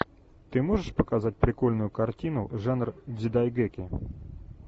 ты можешь показать прикольную картину жанр дзидайгэки